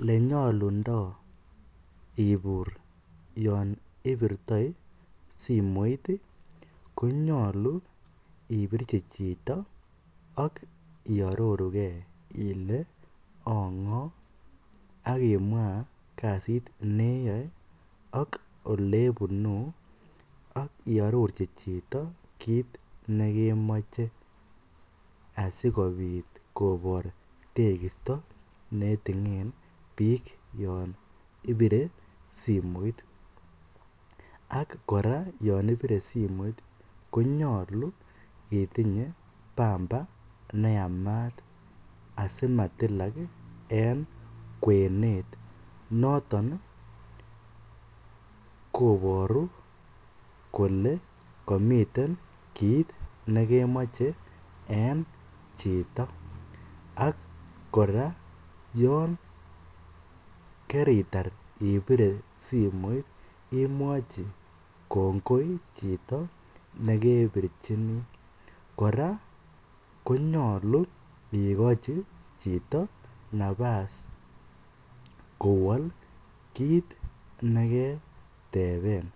Elenyolundo ibur yoon ibirtoi simoit konyolu ibirchi chito ak iororuke ilee angoo ak imwaa kasit neyoe ak olebunuu ak iororchi chito kiit nekemoche asikobit kobor tekisto netingen biik yoon ibire simoit, konyolu itinye pamba neyamat asimatilak en kwenet, noton koboru kolee komiten kiit nekemoche en chito ak kora yoon keritar ibire simoit imwochi kngoi chito nekebirchini, kora konyolu ikochi chito nabas koeol kiit neketeben